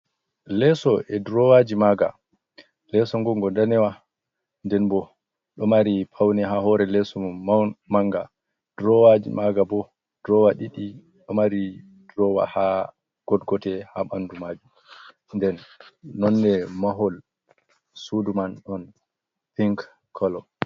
Leeso e ɗurowaji maga. Leso gongo ɗanewa. Nɗen bo ɗo mari paune ha hore leso mum manga. Ɗurowaji maga bo ɗurowa didi. Ɗo mari ɗurowa ha goɗgote ha banɗu majum. Nɗen nonne mahol suɗuman on pink kolo.